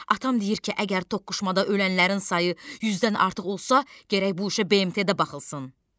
Atam deyir ki, əgər toqquşmada ölənlərin sayı 100-dən artıq olsa, gərək bu işə BMT-də baxılsın.